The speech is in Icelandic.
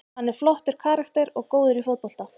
Hann er flottur karakter og góður í fótbolta.